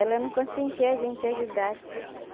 Ela não consentia a gente ajudar, sabe?